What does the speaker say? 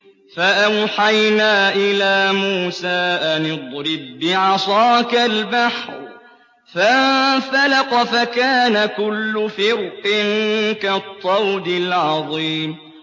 فَأَوْحَيْنَا إِلَىٰ مُوسَىٰ أَنِ اضْرِب بِّعَصَاكَ الْبَحْرَ ۖ فَانفَلَقَ فَكَانَ كُلُّ فِرْقٍ كَالطَّوْدِ الْعَظِيمِ